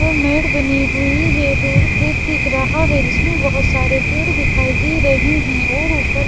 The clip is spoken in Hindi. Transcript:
दो मेड बनी हुई है दूर खेत दिखा रहा है जिसमें बहुत सारे पेड़ दिखाई दे रहे हैं और ऊपर--